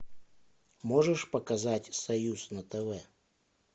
можешь показать союз на тв